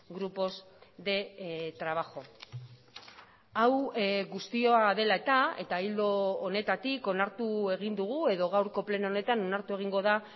grupos de trabajo hau guztia dela eta eta ildo honetatik onartu egin dugu edo gaurko pleno honetan onartu egingo da